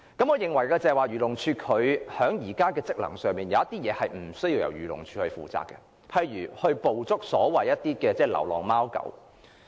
我認為，在漁護署現有職能方面，有些事情其實無須由漁護署負責的，例如捕捉流浪貓狗。